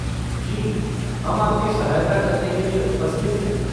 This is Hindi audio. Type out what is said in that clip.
जी, हम आपकी सहायता करने के लिये उपस्थित है।